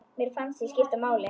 Mér fannst ég skipta máli.